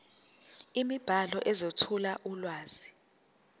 imibhalo ezethula ulwazi